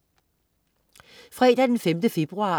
Fredag den 5. februar